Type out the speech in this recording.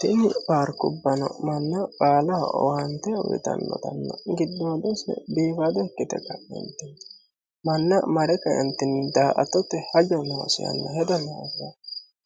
tinni paarkubbano manna baalaha owante uyitannotanno giddoodose biifado ikkite ka'eentini manna mare kaentinni daa''attote haja noosi yanna hedo loerre